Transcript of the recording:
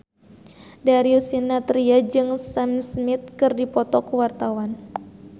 Darius Sinathrya jeung Sam Smith keur dipoto ku wartawan